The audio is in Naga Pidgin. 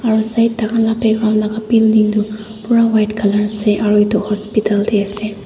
Aro side tai khan laka background laka building tu pura white colour ase aro etu hospital tey ase.